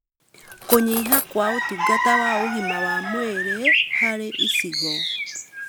Kũnyiha kwa ũtungata wa ũgima wa mwĩrĩ: Harĩ icigo,